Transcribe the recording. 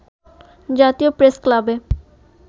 জাতীয় প্রেসক্লাবে